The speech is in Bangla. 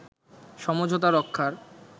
সমঝোতা রক্ষার